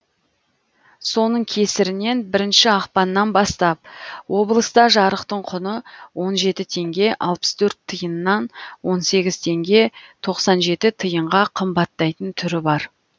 соның кесірінен бірінші ақпаннан бастап облыста жарықтың құны он жеті теңге алпыс төрт тиыннан он сегіз теңге тоқсан жеті тиынға қымбаттайтын түрі бар